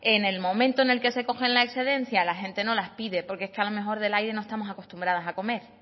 en el momento en el que se cogen la excedencia la gente no las pide porque es que a lo mejor del aire no estamos acostumbrados a comer